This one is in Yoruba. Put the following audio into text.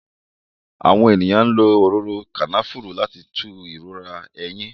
Àwọn èèyàn lo òróró Kànáfùrù láti fi tú ìrora eyín